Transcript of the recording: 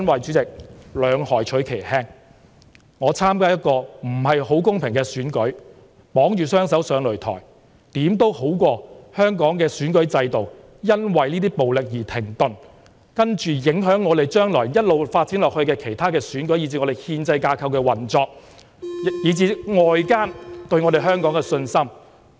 主席，兩害取其輕，我參加一個不太公平的選舉，綁着雙手上擂台，也總勝過香港的選舉制度因為這些暴力而停頓，之後影響將來一直發展下去的其他選舉，以至憲制架構的運作，以及外界對香港的信心。